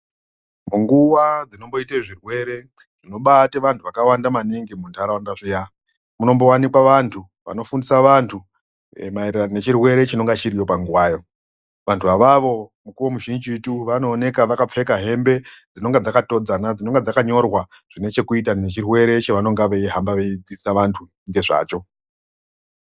Munguwa dzinomboite zvirwere zvinobate vanthu vakawanda maningi muntharaunda zviya, munombowanikwa vanthu vanofundisa vanthu maererano nechirwere chinonga chiriyo panguwayo. Vanthu avavo mukuwo muzhinjitu vanooneka vakapfeka hembe dzinonga dzakatodzana dzinonga dzakanyorwa zvine chekuita nechirwere chovanonga veihamba vedzidzisa vanthu ngezvacho.